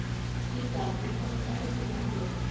Ída, ég kom með átján húfur!